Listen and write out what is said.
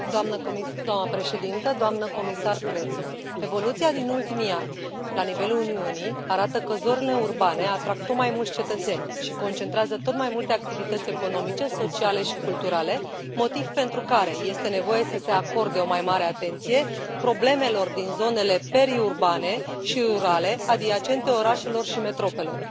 Doamnă președintă, doamnă comisar Crețu, evoluția din ultimii ani la nivelul Uniunii arată că zonele urbane atrag tot mai mulți cetățeni și concentrează tot mai multe activități economice, sociale și culturale, motiv pentru care este nevoie să se acorde o mai mare atenție problemelor din zonele periurbane și rurale adiacente orașelor și metropolelor.